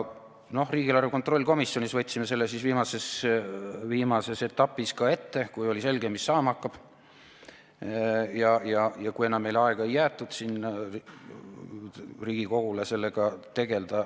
Riigieelarve kontrolli komisjonis võtsime selle viimases etapis ka ette, kui oli selge, mis saama hakkab, ja kui enam meile, Riigikogule, ei jäetud aega sellega tegelda.